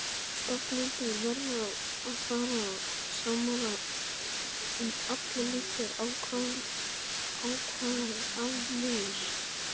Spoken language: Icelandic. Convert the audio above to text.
Stofnendur verða að vera sammála um allar líkar ákvarðanir.